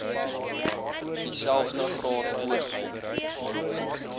dieselfde graad voorgekom